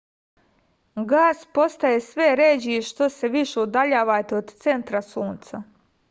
gas postaje sve ređi što se više udaljavate od centra sunca